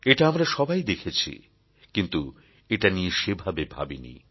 এটা আমরা সবাই দেখেছি কিন্তু এটা নিয়ে সেভাবে ভাবিনি